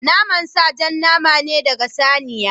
Naman sa jan nama ne ɗaga saniya.